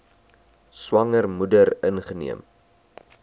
swanger moeder ingeneem